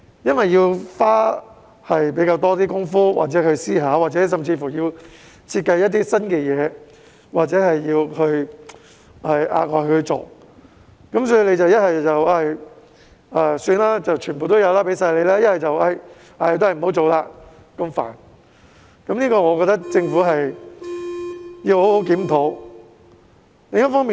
由於要花比較多工夫、思考，或者要設計一些做法，涉及額外工作，所以政府要不就很鬆手，人人有份，要不就因為麻煩而不去做，我覺得政府要好好檢討這個問題。